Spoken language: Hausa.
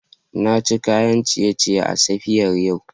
Na ci kayan ciye-ciye a safiyar yau